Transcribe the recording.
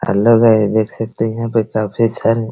hello guys देख सकते हैं यहाँ पे काफी सारे --